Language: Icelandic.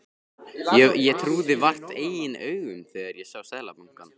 Ég trúði vart eigin augum þegar ég sá seðlabunkann.